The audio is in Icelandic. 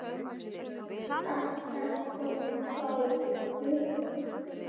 Edda og Bárður.